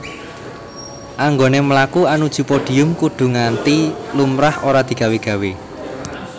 Anggoné mlaku anuju podium kudu kanthi lumrah ora digawé gawé